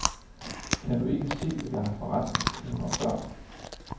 Kan du ikke se, at jeg har forretning, kone og børn.